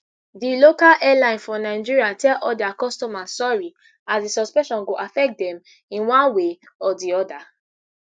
di local airline for nigeria tell all dia customers sorry as di suspension go affect dem in one way or di oda